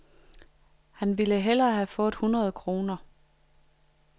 Han ville hellere have fået hundrede kroner.